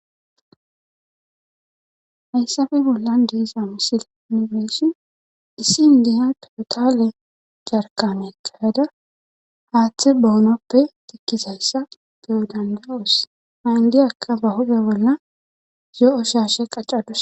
Hayssafe bollan deesa misil nibeshi dissi n diya totale jarkame kayada haaththe boonoppe tikkisayssa beyo dandawoos ha indiyakka ba huge bolla zoo'u shaashe qaccadus.